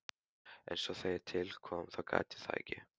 En svo þegar til kom þá gat ég það ekki.